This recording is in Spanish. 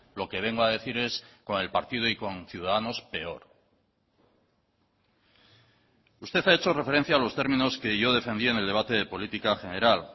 lo que vengo a decir es con el partido y con ciudadanos peor usted ha hecho referencia a los términos que yo defendía en el debate de política general